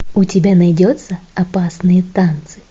у тебя найдется опасные танцы